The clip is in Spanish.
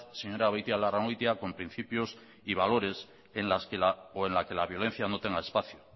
señora beitialarrangoitia con principios y valores en la que la violencia no tenga espacio